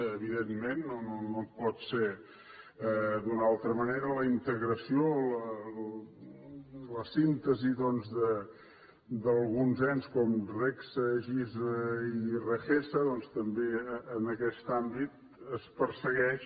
evidentment no pot ser d’una altra manera la integració la síntesi doncs d’alguns ens com regsa gisa i regsega doncs també en aquest àmbit es persegueix